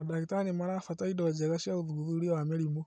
Mandagĩtarĩ nĩmarabatara indo njega cia ũthuthuria wa mĩrimũ